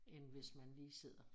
End hvis man lige sidder